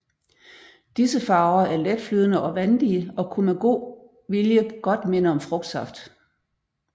Disse farver er letflydende og vandige og kunne med god vilje godt minde om frugtsaft